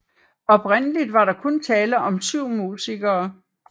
Oprindeligt var der kun tale om 7 musikere